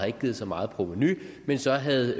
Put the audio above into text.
ikke givet så meget provenu men så havde